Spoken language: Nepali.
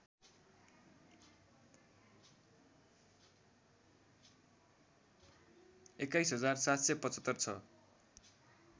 २१ हजार ७७५ छ